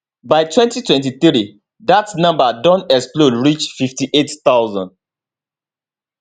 by 2023 dat number don explode reach 58000